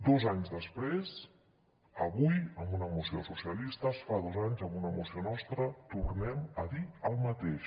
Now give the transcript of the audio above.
dos anys després avui amb una moció dels socialistes fa dos anys amb una moció nostra tornem a dir el mateix